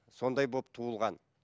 сондай болып туылған